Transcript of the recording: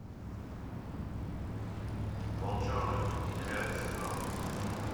волчонок девятый сезон